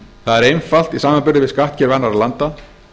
það er einfalt í samanburði við skattkerfi annarra landa